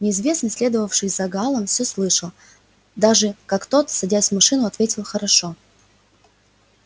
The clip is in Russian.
неизвестный следовавший за гаалом всё слышал даже как тот садясь в машину ответил хорошо